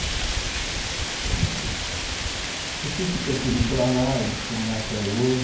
Então, mas... No fim, ficou tudo para lá, eles estão lá até hoje.